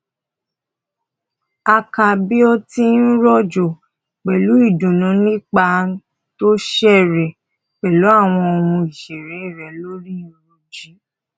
a ká bí ó ti ń ròjọ pẹlú ìdùnnú nígbà tó ń ṣeré pẹlú àwọn ohun ìṣeré rẹ lórí rúújì